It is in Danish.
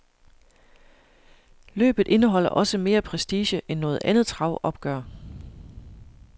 Løbet indeholder også mere prestige end noget andet travopgør.